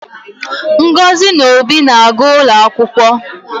Ngozi na Obi na-aga ụlọ akwụkwọ